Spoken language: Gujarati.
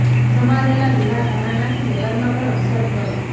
સમારેલા લીલા ધાણા નાખીને ગરમા ગરમ સર્વ કરો